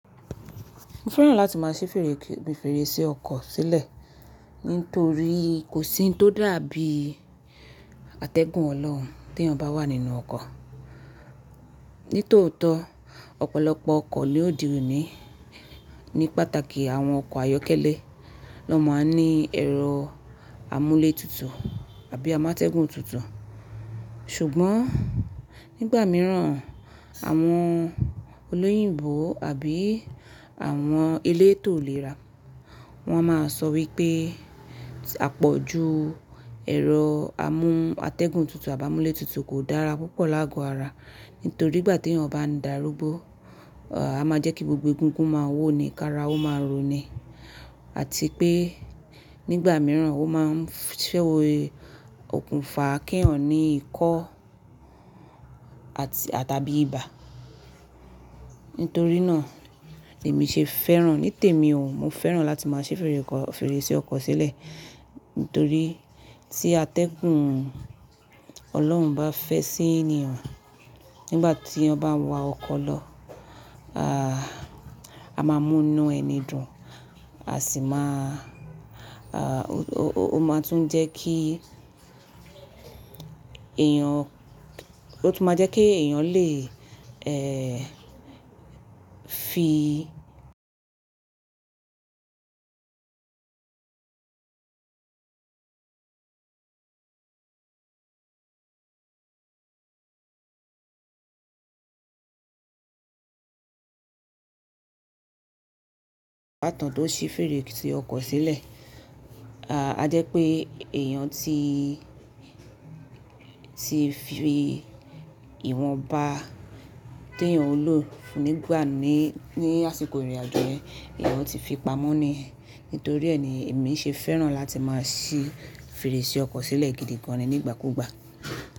Mo fẹ́ràn láti máa ṣí fèrèsé ọkọ̀ sílẹ̀ nítorí kò sí ohun tó dàbí atẹ́gùn Ọlọ́run tí èèyàn bá wà nínú ọkọ̀. Nítòótọ́, ọ̀pọ̀lọpọ̀ ọkọ̀ ló dirí òní, ní pàtàkì àwọn ọkọ̀ ayọ́kẹ́lẹ́ lọ́ máa ń ní ẹ̀rọ amúlé tutù àbí amátẹ́gùn tutù. Ṣùgbọ́n nígbà mìíràn, àwọn olóyìnbo àbí àwọn elétò ìlera wọn máa sọ wípé àpọ̀jù ẹ̀rọ amú atẹ́gùn tutù àbí amúlé tutù kò dára púpọ̀ láàgò ara. Nítorí ìgbà tí èèyàn bá ń darúgbó, a máa jẹ́ kí gbogbo egungun máa wó ni, kí ara ó máa ronú, àti pé nígbà mìíràn ó máa ń ṣẹ́wó okùnfà kí èèyàn ní ikọ́ àtàbí ibà. Nítorí náà èmi ṣe fẹ́ràn. Nítèmi òun, mo fẹ́ràn láti máa ṣí fèrèsé ọkọ̀ sílẹ̀ nítorí tí atẹ́gùn Ọlọ́run bá fẹ́ sí èèyàn nígbà tí ọba ń wa ọkọ̀ lọ, a máa mú inú ẹni dùn, a sì máa-- ó máa tún jẹ́ kí èèyàn, ó tún máa jẹ́ kí èèyàn lè, ẹ́ẹ́, fi pàtán tó ṣí fèrèsé ọkọ̀ sílẹ̀. A jẹ́ pé èèyàn tí, tí fi ìwọ̀nba tí èèyàn ń lò nígbà ní àsìkò ìrìnàjò rẹ, èèyàn ti fi pamọ́ ni. Nítorí ẹ́ ni èmi ṣe fẹ́ràn láti máa ṣí fèrèsé ọkọ̀ sílẹ̀ gidi gan ni nígbàkúgbà.